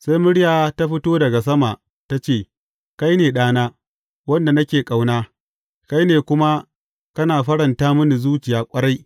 Sai murya ta fito daga sama, ta ce, Kai ne Ɗana, wanda nake ƙauna, kai ne kuma kana faranta mini zuciya ƙwarai.